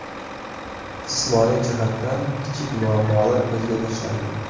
Jismoniy jihatdan kichik muammolar ko‘zga tashlandi.